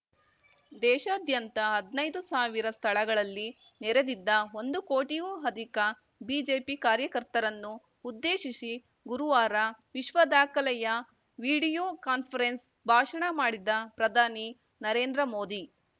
ದೇಶಾದ್ಯಂತ ಹದ್ನಾಯ್ದು ಸಾವಿರ ಸ್ಥಳಗಳಲ್ಲಿ ನೆರೆದಿದ್ದ ಒಂದು ಕೋಟಿಗೂ ಅಧಿಕ ಬಿಜೆಪಿ ಕಾರ್ಯಕರ್ತರನ್ನು ಉದ್ದೇಶಿಸಿ ಗುರುವಾರ ವಿಶ್ವ ದಾಖಲೆಯ ವಿಡಿಯೋ ಕಾನ್ಫರೆನ್ಸ್‌ ಭಾಷಣ ಮಾಡಿದ ಪ್ರಧಾನಿ ನರೇಂದ್ರ ಮೋದಿ